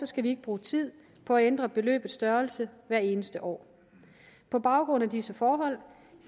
skal vi ikke bruge tid på at ændre beløbets størrelse hvert eneste år på baggrund af disse forhold